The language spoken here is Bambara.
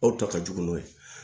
Aw ta ka jugu n'o ye